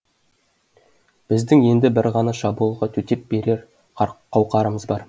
біздің енді бір ғана шабуылға төтеп берер қауқарымыз бар